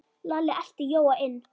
Lalli elti Jóa inn.